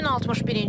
Bugün 61-ci gündür.